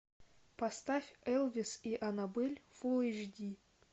поставь элвис и анабель фул эйч ди